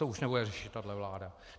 To už nebude řešit tahle vláda.